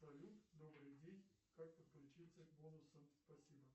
салют добрый день как подключиться к бонусам спасибо